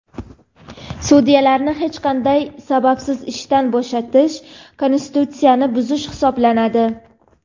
Sudyalarni hech qanday sababsiz ishdan bo‘shatish konstitutsiyani buzish hisoblanadi.